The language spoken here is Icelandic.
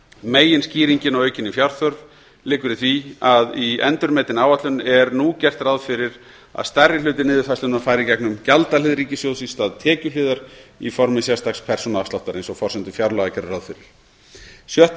meginskýringin á aukinni fjárþörf liggur í því að í endurmetinni áætlun er nú gert ráð fyrir að stærri hluti niðurfærslunnar fari í gegnum gjaldahlið ríkissjóðs í stað tekjuhliðar í formi sérstaks persónuafsláttar eins og forsendur fjárlaga gerðu ráð fyrir í sjötta